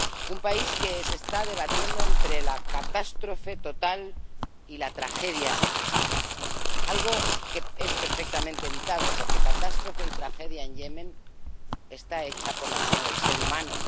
Un país que se está debatiendo entre la catástrofe total y la tragedia, algo que es perfectamente evitable, porque catástrofe y tragedia en Yemen están hechas por la mano del ser humano.